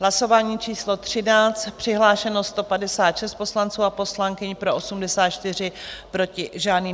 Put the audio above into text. Hlasování číslo 13, přihlášeno 156 poslanců a poslankyň, pro 84, proti žádný.